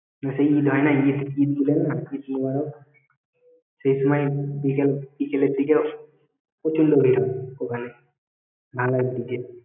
সেই ঈদ হয় না ঈদ ঈদ বুইলেন না ঈদ মোবারক সেই সময় বিকেল বিকেলের দিকে প্রচুর লোক এইল ওখানে